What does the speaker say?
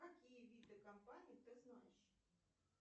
какие виды компаний ты знаешь